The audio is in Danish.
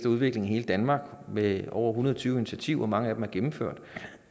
udvikling i hele danmark med over en hundrede og tyve initiativer og mange af dem er gennemført